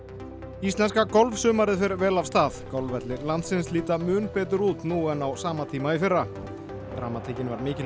íslenska golfsumarið fer vel af stað golfvellir landsins líta mun betur út nú en á sama tíma í fyrra dramatíkin var mikil í